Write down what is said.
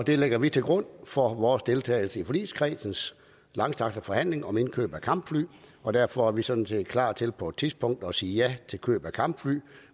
det lægger vi til grund for vores deltagelse i forligskredsens langstrakte forhandling om indkøb af kampfly og derfor er vi sådan set klar til på et tidspunkt at sige ja til køb af kampfly